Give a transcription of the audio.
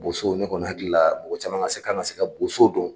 Boso ne kɔni hakili la mɔgɔ caman kan ka se ka Bosow don